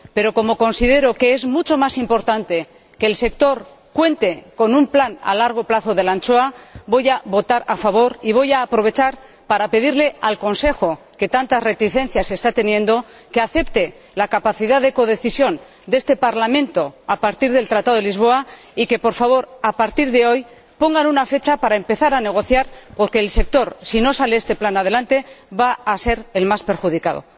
Pero, como considero que es mucho más importante que el sector cuente con un plan a largo plazo para la anchoa, voy a votar a favor y voy a aprovechar esta oportunidad para pedirle al Consejo, que tantas reticencias está teniendo, que acepte la capacidad de codecisión de este Parlamento a partir del Tratado de Lisboa y que, por favor, a partir de hoy ponga una fecha para empezar a negociar, porque el sector, si no sale este plan adelante, va a ser el más perjudicado.